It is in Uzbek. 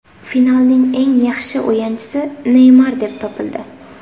Finalning eng yaxshi o‘yinchisi Neymar deb topildi.